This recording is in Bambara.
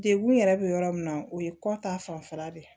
Degun yɛrɛ bɛ yɔrɔ min na o ye kɔ ta fanfɛla de ye